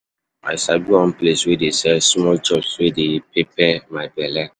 I sabi one place wey dey sell small chops wey dey pepper my belle.